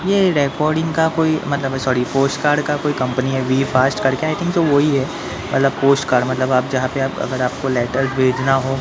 ये डेकॉर्डिंग का कोई मतलब सॉरी पोस्टकार्ड का कोई कंपनी है वीफास्ट करके आई थिंक सो वो ही है मतलब पोस्टकार्ड मतलब आप जहां पे आप अगर आपको लैटर भेजना हो--